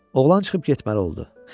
Oğlan çıxıb getməli oldu.